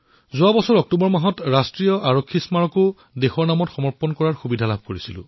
যোৱা বছৰৰ অক্টোবৰ মাহত মই ৰাষ্ট্ৰীয় আৰক্ষী স্মাৰকক দেশলৈ উচৰ্গা কৰাৰ সৌভাগ্য লাভ কৰিছিলো